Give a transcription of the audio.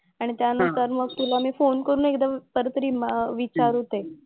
आणि त्यानंतर मग तुला मी फोन करून एकदा परत रिमा विचारते.